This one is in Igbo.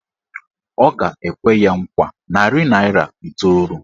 Ọ ga-ekwe ya nkwa narị naịra iteolu.